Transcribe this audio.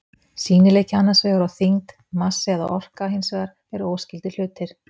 Sýnileiki annars vegar og þyngd, massi eða orka hins vegar eru óskyldir hlutir.